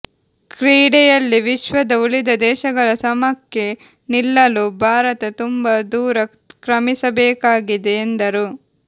ಕ್ರೀಡೆಯಲ್ಲಿ ವಿಶ್ವದ ಉಳಿದ ದೇಶಗಳ ಸಮಕ್ಕೆ ನಿಲ್ಲಲು ಭಾರತ ತುಂಬಾ ದೂರ ಕ್ರಮಿಸಬೇಕಾಗಿದೆ ಎಂದರು